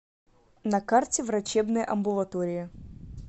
на карте врачебная амбулатория